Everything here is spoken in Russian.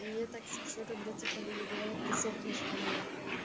мне так смешно когда типа люди говорят ты сохнешь по мне